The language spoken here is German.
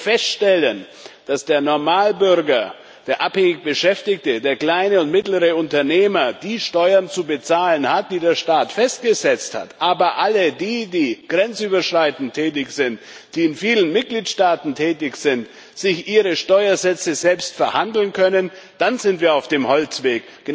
Wenn wir feststellen, dass der Normalbürger, der abhängig Beschäftigte, der kleine und mittlere Unternehmer die Steuern zu bezahlen hat, die der Staat festgesetzt hat, aber alle diejenigen, die grenzüberschreitend tätig sind, die in vielen Mitgliedstaaten tätig sind, sich ihre Steuersätze selbst verhandeln können, dann sind wir auf dem Holzweg.